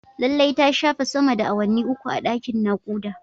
Lallai ta shafe sama da awanni uku a dakin nakuda